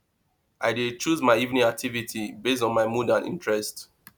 i dey choose my evening activity base on my mood and interest